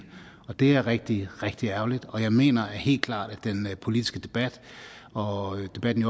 og det er rigtig rigtig ærgerligt og jeg mener helt klart at den politiske debat og debatten